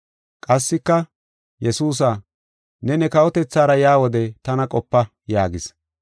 Qassika, “Yesuusa, ne ne kawotethaara yaa wode tana qopa” yaagis.